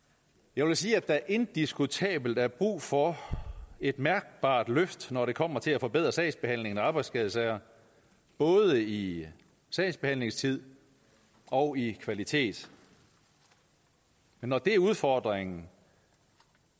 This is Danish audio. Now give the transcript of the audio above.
jeg vil sige at der indiskutabelt er brug for et mærkbart løft når det kommer til at forbedre sagsbehandlingen i arbejdsskadesager både i sagsbehandlingstid og i kvalitet men når det er udfordringen